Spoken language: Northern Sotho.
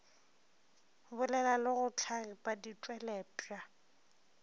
bolela le go hlagipa ditpweletpwa